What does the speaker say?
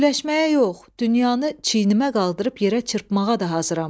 Güləşməyə yox, dünyanı çiynimə qaldırıb yerə çırpmağa da hazıram.